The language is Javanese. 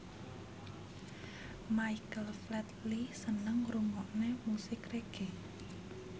Michael Flatley seneng ngrungokne musik reggae